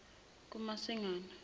kumasingana